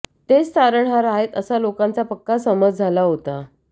तेच तारणहार आहेत असा लोकांचा पक्का समज झाला होता